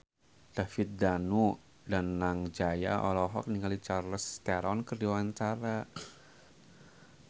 David Danu Danangjaya olohok ningali Charlize Theron keur diwawancara